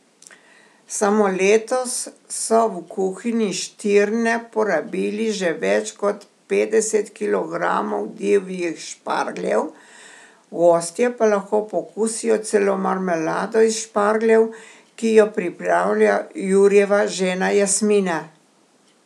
Samo letos so v kuhinji Štirne porabili že več kot petdeset kilogramov divjih špargljev, gostje pa lahko pokusijo celo marmelado iz špargljev, ki jo pripravlja Jurijeva žena Jasmina.